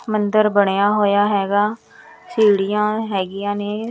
ਮੰਦਿਰ ਬਣਿਆ ਹੋਇਆ ਹੈਗਾ ਸੀੜੀਆਂ ਹੈਗੀਆਂ ਨੇ।